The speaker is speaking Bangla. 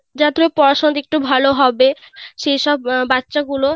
যতুটুকু পড়াশোনাতে একটু ভাল হবে সে সব বাচ্চা গুলো